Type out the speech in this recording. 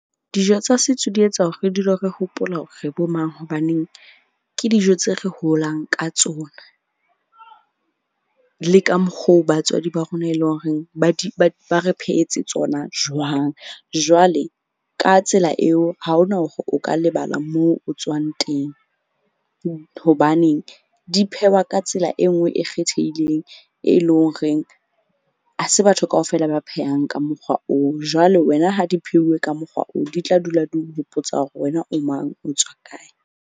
Dijo tsa setso di etsa hore re dule re hopola hore re bo mang. Hobaneng ke dijo tse re holang ka tsona. Le ka mokgo batswadi ba rona e leng horeng ba di ba re phehetse tsona jwang. Jwale ka tsela eo, ha hona hore o ka lebala moo o tswang teng. Hobaneng di phehwa ka tsela e nngwe e kgethehileng e leng horeng ha se batho kaofela ba phehang ka mokgwa oo. Jwale wena ha di pheuwe ka mokgwa oo, di tla dula di o hopotsa hore wena o mang, o tswa kae.